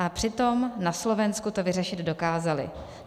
A přitom na Slovensku to vyřešit dokázali.